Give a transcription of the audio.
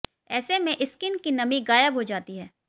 ऐसे में स्किन की नमी गायब हो जाती है